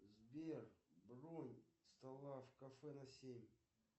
сбер бронь стола в кафе на семь